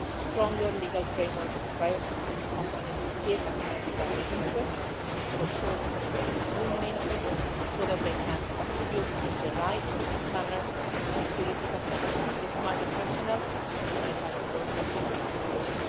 A stronger legal framework for private security companies is in everybody's interest it is certainly in the European Union's interest, so that they can contribute in the right manner to the security of many people, from diplomatic staff to humanitarian workers, around the world.